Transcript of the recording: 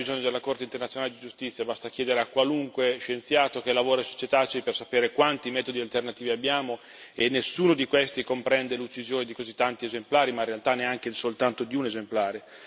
Ma non c'era bisogno della Corte internazionale di giustizia, basta chiedere a qualunque scienziato che lavora sui cetacei per sapere quanti metodi alternativi abbiamo, e nessuno di questi comprende l'uccisione di così tanti esemplari, in realtà neanche soltanto di un esemplare.